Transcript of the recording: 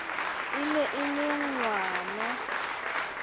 e ne e le ngwana